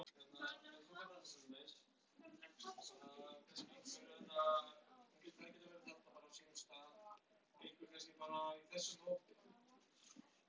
Þetta er vonandi bara byrjunin á því að gera þetta að flottu vígi í sumar.